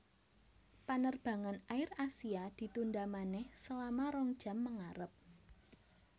Penerbangan AirAsia ditunda maneh selama rong jam mengarep